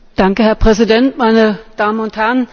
Herr Präsident, meine Damen und Herren!